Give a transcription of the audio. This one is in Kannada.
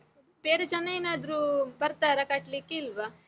ಬೇರೆ ಜನ ಏನಾದ್ರೂ ಬರ್ತಾರಾ ಕಟ್ಲಿಕ್ಕೆ, ಇಲ್ವ?